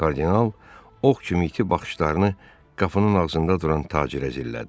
Kardinal ox kimi iti baxışlarını qapının ağzında duran tacirə zillədi.